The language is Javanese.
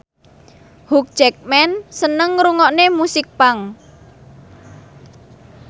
Hugh Jackman seneng ngrungokne musik punk